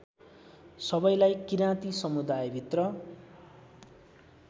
सबैलाई किराँती समुदायभित्र